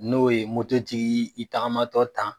N'o ye mototigi y'i tagamatɔ tan.